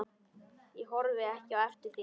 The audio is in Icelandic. Ég horfi ekki eftir þér.